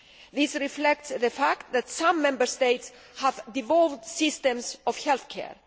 This reflects the fact that some Member States have devolved systems of health care.